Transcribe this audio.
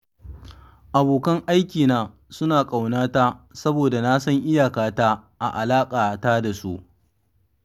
Abokan aikina suna ƙaunata saboda na san iyakata a alaƙata da su.